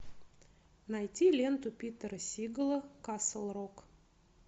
найти ленту питера сигала касл рок